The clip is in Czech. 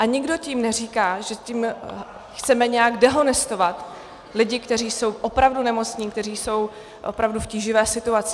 A nikdo tím neříká, že tím chceme nějak dehonestovat lidi, kteří jsou opravdu nemocní, kteří jsou opravdu v tíživé situaci.